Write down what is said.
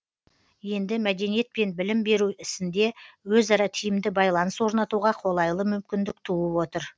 енді мәдениет пен білім беру ісінде өзара тиімді байланыс орнатуға қолайлы мүмкіндік туып отыр